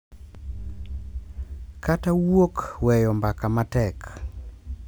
Kata wuok weyo mbaka matek, .